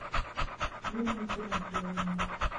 лилии тимофеевне